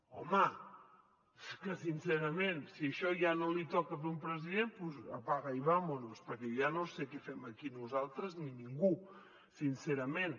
home és que sincerament si això ja no li toca fer a un president doncs apaga y vámonos perquè jo ja no sé què fem aquí nosaltres ni ningú sincerament